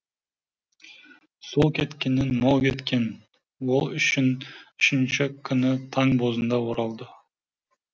сол кеткеннен мол кеткен ол үшінші күні таң бозында оралды